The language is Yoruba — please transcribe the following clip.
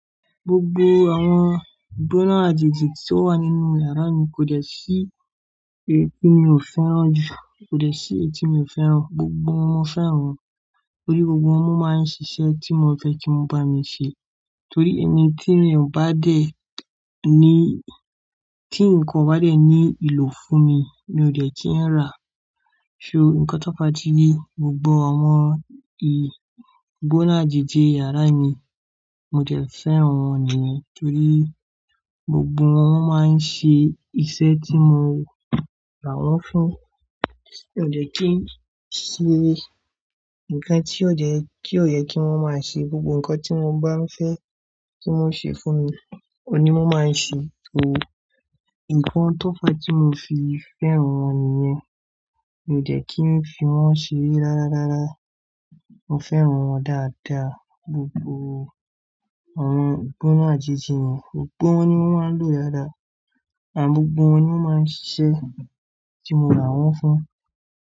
Gbogbo àwọn gbóná àjèjì tí ó wà nínú yàrá mi kò dẹ̀ sí èyí tí mi ò fẹ́ràn jù, kò dẹ̀ sí èyí tí mi ò fẹ́ràn. Gbogbo wọn mo fẹ́ràn wọ́n torí gbogbo wọn máa ń ṣiṣẹ́ tí mo fẹ́ kí wọ́n bá mi ṣe. Torí ẹni tí èèyàn bá dé ní, tí ǹkan bá dé ní ìlò fún mi, mi ò dẹ̀ ki ń rà. So nǹkan tó pa ni gbogbo àwọn ẹni gbóná àjèjì yàrá mi, mo dẹ̀ fẹ́ràn wọ́n nìyẹn torí gbogbo wọn máa ń ṣe iṣẹ́ tí mo rà wọ́n fún. Kò dẹ̀ kí ṣe ǹkan tí ò yẹ kí wọ́n máa ṣe, gbogbo ǹkan tí mo bá ń fẹ́ tí wọ́n ṣe fún mi, òní wọ́n máa ń ṣe. So ìkàn tó pẹ́ tí mo fi fẹ́ràn wọ́n nìyẹn. Mi ò dẹ̀ kí n fi wọ́n ṣe rárá rárá. Mo fẹ́ràn wọ́n dáadáa, gbogbo àwọn gbóná àjèjì mi. Gbogbo wọn ni wọ́n máa ń lò dáadáa, àgbogbo wọn ni wọ́n máa ń ṣe tí mo rà wọ́n fún.